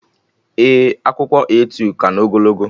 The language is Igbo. Ee, akwụkwọ A2 ka na ogologo